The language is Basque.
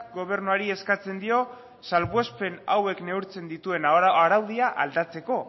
gobernuari eskatzen dio salbuespen hauek neurtzen dituen araudia aldatzeko